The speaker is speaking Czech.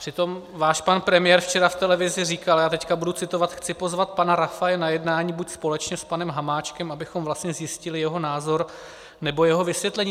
Přitom váš pan premiér včera v televizi říkal - já teď budu citovat: "Chci pozvat pana Rafaje na jednání buď společně s panem Hamáčkem, abychom vlastně zjistili jeho názor, nebo jeho vysvětlení."